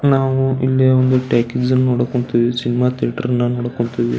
ನಾವು ಇಲ್ಲಿ ಒಂದು ಟಾಕೀಸ್ ನ ನೋಡೋಕ್ಹೊಂತಿವಿ ಸಿನಿಮಾ ಥಿಯೇಟರ್ ಅನ್ನ ನೋಡಕ್ಹೊಂತಿವಿ.